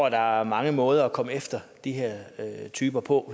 at der er mange måder at komme efter de her typer på